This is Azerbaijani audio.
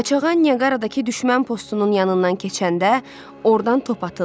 Qaçağan Nyaqaradakı düşmən postunun yanından keçəndə ordan top atıldı.